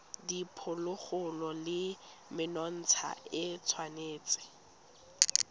diphologolo le menontsha e tshwanetse